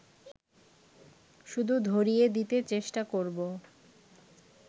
শুধু ধরিয়ে দিতে চেষ্টা করব